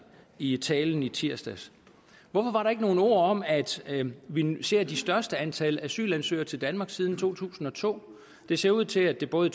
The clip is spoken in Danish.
i talen i tirsdags hvorfor var der ikke nogen ord om at vi vi ser det største antal asylansøgere til danmark siden 2002 det ser ud til at det både